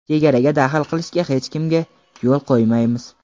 Chegaraga daxl qilishga hech kimga yo‘l qo‘ymaymiz.